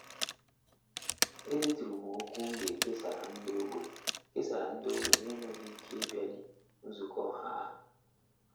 E deturu m okwu m ga e kesara nde ogbe kesara nde ogbe n'enweghị ike ị bịali nzukọ ọha a.